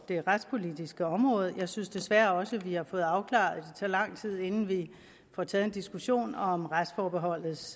det retspolitiske område og jeg synes desværre også vi har fået afklaret at tager lang tid inden vi får taget en diskussion om retsforbeholdets